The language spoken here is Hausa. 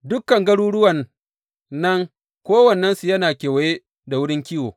Dukan garuruwan nan kowannensu yana kewaye da wurin kiwo.